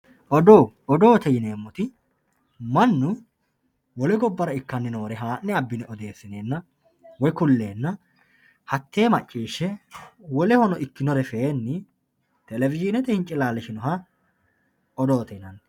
Odoo, odoote yinemoti manu wole gobbara ikkani noore haa'ne abine oddeesinenna woyi kuleenna hatee macciishe wolehono ikkinore feeni televishinete hincilalishinoha odoote yinanni